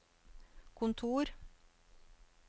kontor